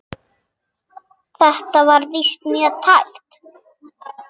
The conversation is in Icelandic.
Þetta var víst mjög tæpt.